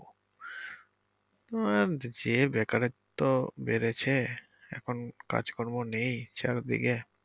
তোমার যে বেকারত্ব বেড়েছে এখন কাজকর্ম নেই চারদিকে।